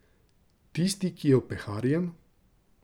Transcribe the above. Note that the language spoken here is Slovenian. Tisti, ki je opeharjen?